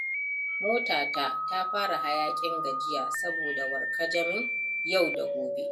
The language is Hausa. Motata ta fara hayaƙin gajiya saboda warkajamin yau da gobe.